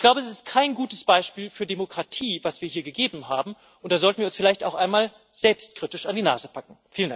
Ich glaube, es ist kein gutes Beispiel für Demokratie, das wir hier gegeben haben, und da sollten wir uns vielleicht auch einmal selbstkritisch an die Nase fassen.